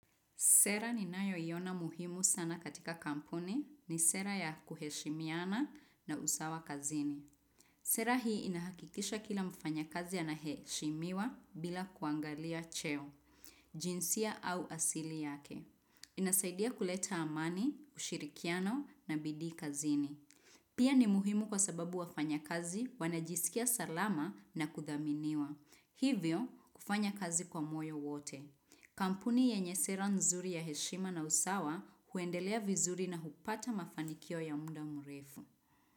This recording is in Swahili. Sera ninayo iona muhimu sana katika kampuni ni sera ya kuheshimiana na usawa kazini. Sera hii inahakikisha kila mfanya kazi anaheshimiwa bila kuangalia cheo, jinsia au asili yake. Inasaidia kuleta amani, ushirikiano na bidii kazini. Pia ni muhimu kwa sababu wafanya kazi wanajisikia salama na kudhaminiwa. Hivyo kufanya kazi kwa moyo wote. Kampuni yenye sera nzuri ya heshima na usawa huendelea vizuri na hupata mafanikio ya muda mrefu.